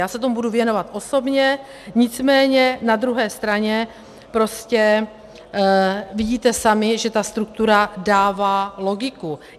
Já se tomu budu věnovat osobně, nicméně na druhé straně prostě vidíte sami, že ta struktura dává logiku.